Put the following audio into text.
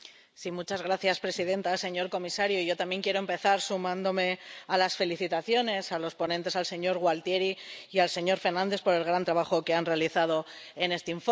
Señora presidenta, señor comisario, yo también quiero empezar sumándome a las felicitaciones a los ponentes, al señor Gualtieri y al señor Fernandes, por el gran trabajo que han realizado en este informe.